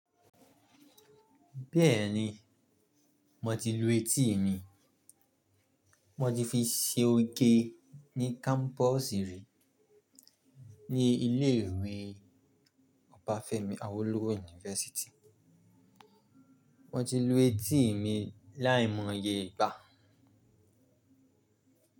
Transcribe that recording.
Bẹ́ẹ̀ni, mo ti lu etí mí. Mo ti fi ṣe oge ní kámpọ̀sì rí ní ilé ìwé Ọbafẹ́mi Awólówọ̀ University. Mo ti lu etí mi láìmọye ìgbà.